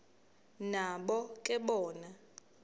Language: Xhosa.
nabo ke bona